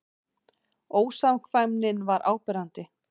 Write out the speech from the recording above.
Ósamkvæmnin var áberandi.